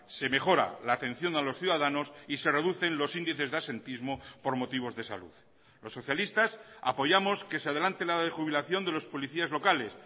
se mejora la atención a los ciudadanos y se reducen los índices de absentismo por motivos de salud los socialistas apoyamos que se adelante la edad de jubilación de los policías locales